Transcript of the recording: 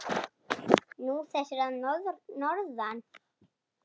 Nú, þessir að norðan.